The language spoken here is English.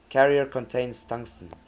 carrier contains tungsten